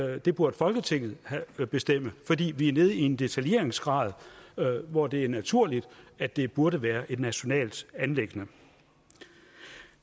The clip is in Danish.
at det burde folketinget bestemme fordi vi er nede i en detaljeringsgrad hvor det er naturligt at det burde være et nationalt anliggende